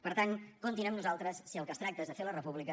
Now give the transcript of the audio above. per tant comptin amb nosaltres si del que es tracta és de fer la república